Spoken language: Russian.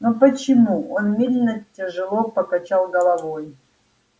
но почему он медленно тяжело покачал головой